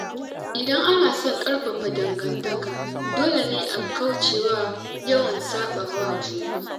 Idan ana son ƙarfafa dangantaka, dole ne a kaucewa yawan saɓawa juna.